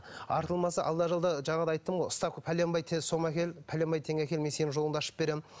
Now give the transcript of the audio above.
артылмаса алда жалда жаңағыда айттым ғой ставка пәленбай сома әкел пәленбай теңге әкел мен сенің жолыңды ашып беремін